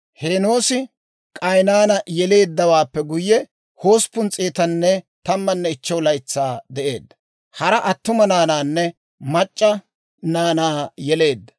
Heenoosi K'aynaana yeleeddawaappe guyye, 815 laytsaa de'eedda; hara attuma naanaanne mac'c'a naanaa yeleedda.